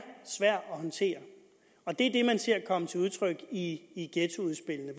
sværd at håndtere og det er det man ser komme til udtryk i i ghettoudspillene